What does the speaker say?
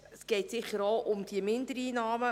Es geht sicher auch um die drohenden Mindereinnahmen.